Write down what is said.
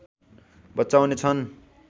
बचाउने छन्